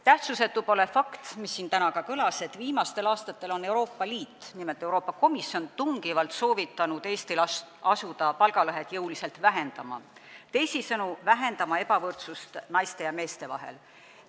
Tähtsusetu pole ka fakt, mis siin täna kõlas, et viimastel aastatel on Euroopa Liit, nimelt Euroopa Komisjon, tungivalt soovitanud Eestil asuda jõuliselt vähendama palgalõhet, teisisõnu, vähendama ebavõrdsust naiste ja meeste vahel.